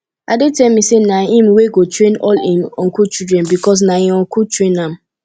ade tell me say na him wey go train all im uncle children because na im uncle train am